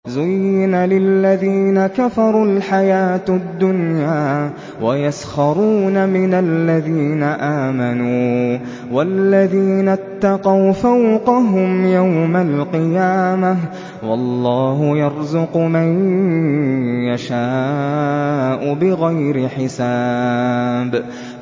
زُيِّنَ لِلَّذِينَ كَفَرُوا الْحَيَاةُ الدُّنْيَا وَيَسْخَرُونَ مِنَ الَّذِينَ آمَنُوا ۘ وَالَّذِينَ اتَّقَوْا فَوْقَهُمْ يَوْمَ الْقِيَامَةِ ۗ وَاللَّهُ يَرْزُقُ مَن يَشَاءُ بِغَيْرِ حِسَابٍ